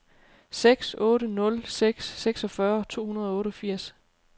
seks otte nul seks seksogfyrre to hundrede og otteogfirs